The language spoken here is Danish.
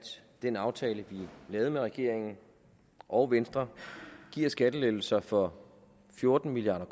den aftale vi lavede med regeringen og venstre giver skattelettelser for fjorten milliard